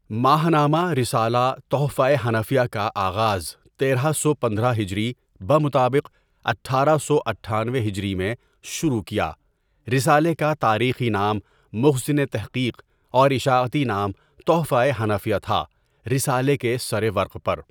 ماہنامہ رسالہ تحفۂ حنفیہ کا آغاز تیرہ سو پندرہ ہجری بمطابق اٹھارہ سو اٹھانوے ہجری میں شروع کیا رسالے کا تاریخی نام مخزن تحقیق اور اشاعتی نام تحفۂ حنفیہ تھا رسالے کے سرورق پر.